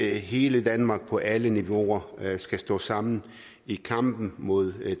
hele danmark på alle niveauer skal stå sammen i kampen mod